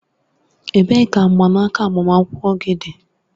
Ebee ka mgbanaka agbamakwụkwọ dị?